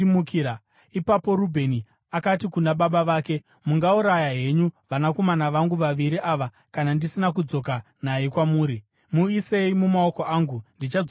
Ipapo Rubheni akati kuna baba vake, “Mungauraya henyu vanakomana vangu vaviri ava kana ndisina kudzoka naye kwamuri. Muisei mumaoko angu, ndichadzoka naye.”